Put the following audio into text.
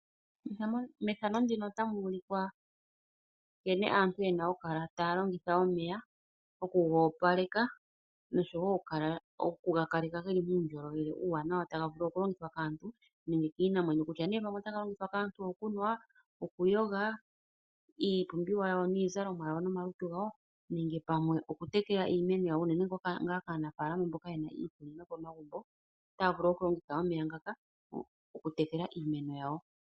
Methano ndino otamu ulikwa nkene aantu yena oku kala yena taa longitha omeya, oku goopaleka nosho woo oku ga kaleka geli muundjolowele uuwanawa taga vulu oku longithwa kaantu nenge kiinamwenyo kutya nee otaga longithwa kaantu gokunwa okuyoga ,iipumbiwa yawo niizalonwa yawo nomalutu gawo nenge pamwe oku tekela iimeno yayo unene kaanafaalama mboka yena iimeno momagumbo ,otaa vulu oku longitha omeya ngaka oku tekela iimeno yawo.